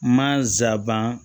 Ma zaban